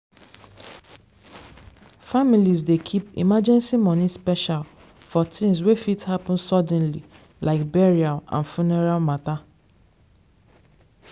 families dey keep emergency money special for things wey fit happen suddenly like burial and funeral matter.